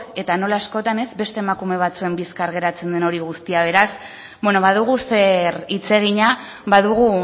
eta nola askotan beste emakume batzuen bizkar geratzen den hori guztia beraz badugu zer hitz egina badugu